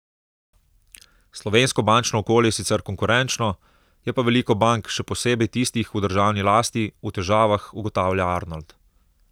Slovensko bančno okolje je sicer konkurenčno, je pa veliko bank, še posebej tistih v državni lasti, v težavah, ugotavlja Arnold.